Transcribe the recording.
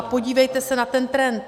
A podívejte se na ten trend.